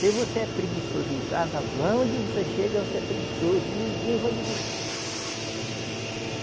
Se você é preguiçoso em casa, lá onde você chega, você é preguiçoso e ninguém vai lhe gostar.